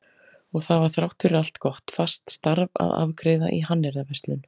Og það var þrátt fyrir allt gott, fast starf að afgreiða í hannyrðaverslun.